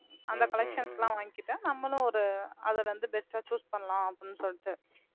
அந்த collections லாம் வாங்கிட்டா நம்மளும் ஒரு அதுல இருந்து best ஆ choose பண்ணலாம் அப்படின்னு சொல்லிட்டு